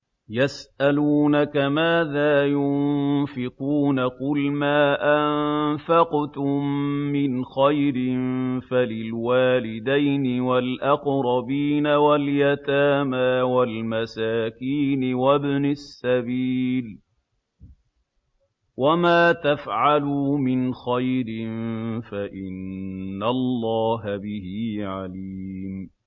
يَسْأَلُونَكَ مَاذَا يُنفِقُونَ ۖ قُلْ مَا أَنفَقْتُم مِّنْ خَيْرٍ فَلِلْوَالِدَيْنِ وَالْأَقْرَبِينَ وَالْيَتَامَىٰ وَالْمَسَاكِينِ وَابْنِ السَّبِيلِ ۗ وَمَا تَفْعَلُوا مِنْ خَيْرٍ فَإِنَّ اللَّهَ بِهِ عَلِيمٌ